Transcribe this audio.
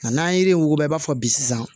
Nka n'an ye yiri in wuguba i b'a fɔ bi sisan